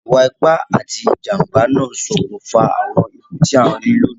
Ìwa ipá ati ìjànbá náà n sokùnfà àwon ikú ti a n ri loní